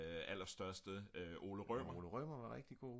aller største Ole Rømer